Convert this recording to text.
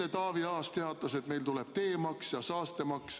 Eile Taavi Aas teatas, et meil kehtestatakse teemaks ja saastemaks.